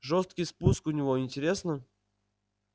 жёсткий спуск у него интересно